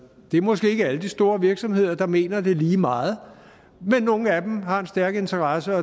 det er måske ikke alle de store virksomheder der mener det lige meget men nogle af dem har en stærk interesse